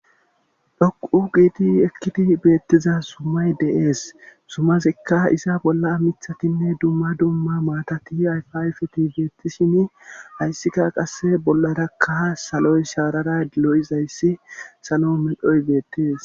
dhoqu giidi ekkidi beettiza sumay deees sumazikka isa bolla mithatinne dumma dumma maatati ayfayfeti beettishini hayssikka qasse bollarakka saloy shaarara dilo7izayssi salo medhoy beettees